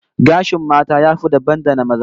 Gashin mata ya fita dabam da na maza